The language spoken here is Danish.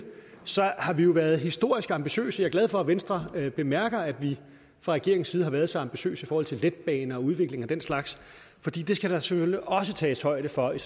har vi jo været historisk ambitiøse og glad for at venstre bemærker at vi fra regeringens side har været så ambitiøse i forhold til letbaner og udviklingen af den slags for det skal der selvfølgelig også tages højde for i